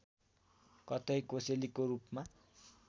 कतै कोसेलीको रूपमा